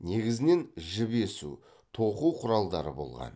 негізінен жіп есу тоқу құралдары болған